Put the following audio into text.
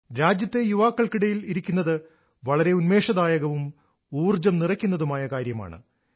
രാജ്യത്തെ യുവാക്കൾക്കിടയിൽ ഇരിക്കുന്നത് വളരെ ഉന്മേഷദായകവും ഊർജ്ജം നിറയ്ക്കുന്നതുമായ കാര്യമാണ്